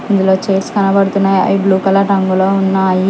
ఇందులో చైర్స్ కనబడుతున్నాయి అవి బ్లూ కలర్ రంగులో ఉన్నాయి.